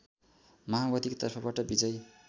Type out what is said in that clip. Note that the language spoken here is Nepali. माओवादीको तर्फबाट विजयी